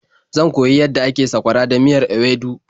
Zan koyi yadda ake sakwara da miyar ewedu.